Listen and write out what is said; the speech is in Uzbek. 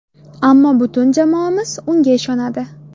Ammo butun jamoamiz unga ishonadi.